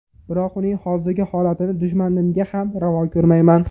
Biroq uning hozirgi holatini dushmanimga ham ravo ko‘rmayman.